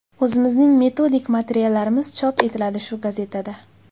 O‘zimizning metodik materiallarimiz chop etiladi shu gazetada.